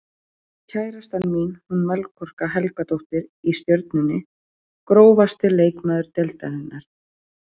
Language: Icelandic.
Kærastan mín hún Melkorka Helgadóttir í Stjörnunni Grófasti leikmaður deildarinnar?